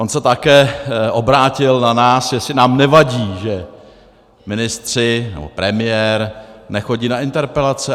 On se také obrátil na nás, jestli nám nevadí, že ministři nebo premiér nechodí na interpelace.